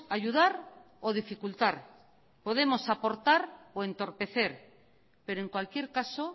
ayudar o dificultar podemos aportar o entorpecer pero en cualquier caso